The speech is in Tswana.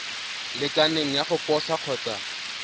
lekaneng ya go posa kgotsa